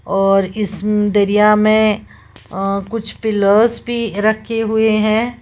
और इस दरिया में कुछ पिलर्स भी रखे हुए हैं।